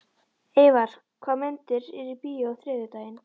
Eyvar, hvaða myndir eru í bíó á þriðjudaginn?